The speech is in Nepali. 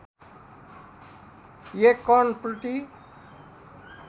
१ कण प्रति